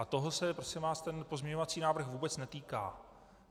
A toho se, prosím vás, ten pozměňovací návrh vůbec netýká.